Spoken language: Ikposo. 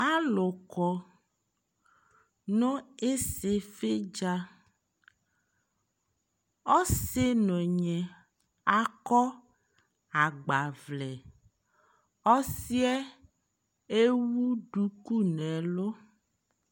alo kɔ no isifi dza ɔsi no ɔnyi akɔ agbavlɛ ɔsiɛ ewu duku no ɛlo